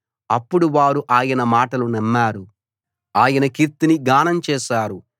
అప్పుడు వారు ఆయన మాటలు నమ్మారు ఆయన కీర్తిని గానం చేశారు